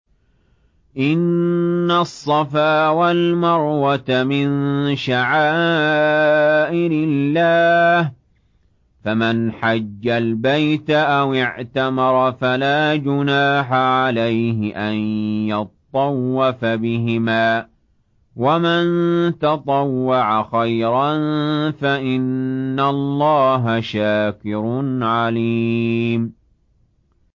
۞ إِنَّ الصَّفَا وَالْمَرْوَةَ مِن شَعَائِرِ اللَّهِ ۖ فَمَنْ حَجَّ الْبَيْتَ أَوِ اعْتَمَرَ فَلَا جُنَاحَ عَلَيْهِ أَن يَطَّوَّفَ بِهِمَا ۚ وَمَن تَطَوَّعَ خَيْرًا فَإِنَّ اللَّهَ شَاكِرٌ عَلِيمٌ